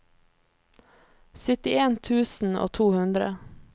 syttien tusen og to hundre